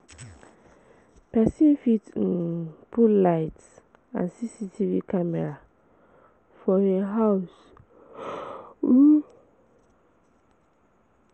Persin fit um put lights and CCTV camera for im house um